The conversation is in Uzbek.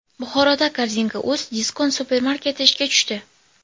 Buxoroda Korzinka.uz Diskont supermarketi ishga tushdi.